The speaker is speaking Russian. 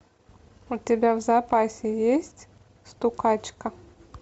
у тебя в запасе есть стукачка